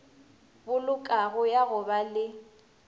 bolokago ya go ba le